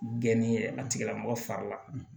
Geni a tigilamɔgɔ fari la